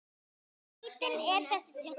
Skrítin er þessi tunga.